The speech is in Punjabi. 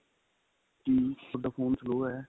ਕੀ ਤੁਹਾਡਾ phone slow ਏ